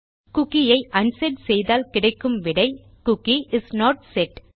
cookie ஐ unset செய்தால் கிடைக்கும் விடை குக்கி இஸ் நோட் செட்